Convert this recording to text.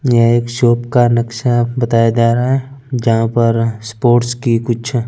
ये एक शॉप का नक्शा बताया जा रहा है जहा पर स्पोर्ट्स की कुछ--